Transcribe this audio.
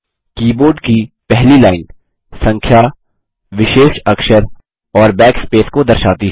keyboard की पहली line संख्या विशेष अक्षर और बैकस्पेस की दर्शाती है